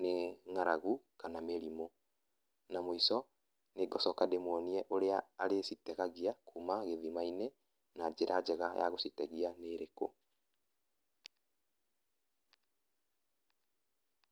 nĩ ngaragu kana mĩrimũ. Na muico nĩngũcoka ndĩmuonie ũrĩa arĩcitegagia, kuuma gĩthima-inĩ na njĩra njega ya gũcitegia nĩ ĩrĩku.